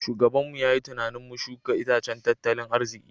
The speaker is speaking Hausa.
Shugabanmu ya yi tunanin mu shuka itacen tattalin arziki.